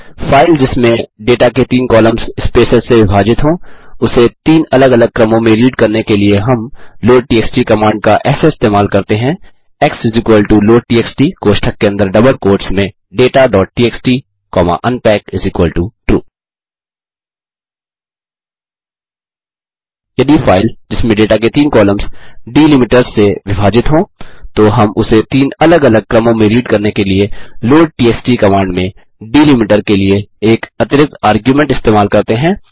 file जिसमें data के तीन कॉलम्स स्पेसेस से विभाजित हों उसे तीन अलग अलग क्रमों में रीड करने के लिए हम लोडटीएक्सटी कमांड का ऐसे इस्तेमाल करते हैं एक्स लोडटीएक्सटी कोष्ठक के अंदर डबल कोट्स में dataटीएक्सटी कॉमा unpackTrue यदि फाइल जिसमें डेटा के तीन कॉलम्स डीलिमिटर्स से विभाजित हों तो हम उसे तीन अलग अलग क्रमों में रीड करने के लिए लोडटीएक्सटी कमांड में डीलिमिटर के लिए एक अतिरिक्त आर्ग्युमेंट इस्तेमाल करते हैं